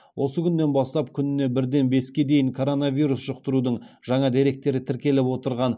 осы күннен бастап күніне бірден беске дейін коронавирус жұқтырудың жаңа деректері тіркеліп отырған